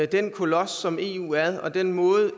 den kolos som eu er og den måde